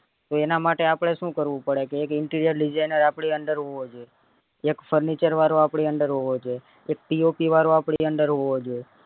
તો એના માટે આપડે શું કરવું પડે કે interior designer આપડી under હોવો જોઈએ એક furniture વાળો આપડી under હોવો જોઈએ એક pop વાળો આપડી under હોવો જોઈએ